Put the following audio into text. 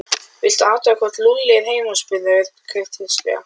Viltu athuga hvort Lúlli er heima spurði Örn kurteislega.